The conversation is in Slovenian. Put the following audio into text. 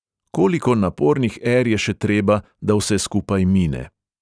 Koliko napornih er je še treba, da vse skupaj mine?